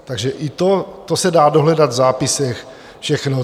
Takže i to se dá dohledat v zápisech všechno.